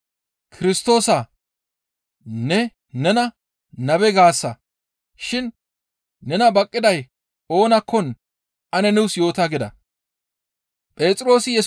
«Kirstoosaa! Ne nena nabe gaasa shin nena baqqiday oonakkon ane nuus yoota» gida.